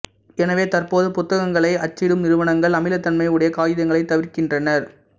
எனவே தற்போது புத்தங்களை அச்சிடும் நிறுவனங்கள் அமிலத்தன்மை உடைய காகிதங்ளை தவிர்க்கின்றனர்